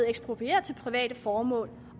eksproprieret til private formål